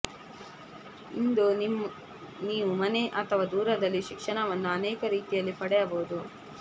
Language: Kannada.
ಇಂದು ನೀವು ಮನೆ ಅಥವಾ ದೂರದಲ್ಲಿ ಶಿಕ್ಷಣವನ್ನು ಅನೇಕ ರೀತಿಯಲ್ಲಿ ಪಡೆಯಬಹುದು